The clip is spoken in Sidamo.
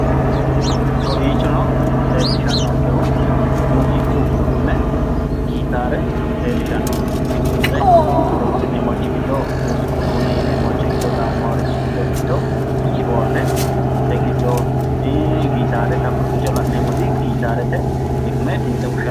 Kowiichono leellishannonkehu muziiqu uduunne gitaare leellishannonke dimtse horonsi'neemmorichi giddo muziiqu uduunne yineemmorichi giddo gaamamannorichi giddo mitto kiboorde ii gitaate xa kowiicho la'neemmoti gitaarete xiqime dimtse fushsshate